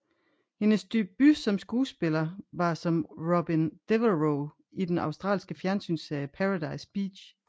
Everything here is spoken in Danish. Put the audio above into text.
Hendes debut som skuespiller var som Robyn Devereaux i den australske fjernsynsserie Paradise Beach